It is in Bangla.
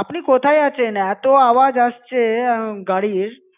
আপনি কোথায় আছেন? এতো আওয়াজ আসছে গাড়ির